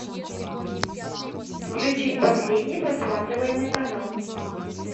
включить последний просматриваемый канал